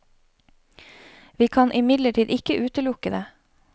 Vi kan imidlertid ikke utelukke det.